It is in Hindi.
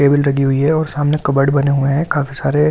टेबल लगी हुए और सामने कबर्ड बनने हुए हैं काफी सारे अ --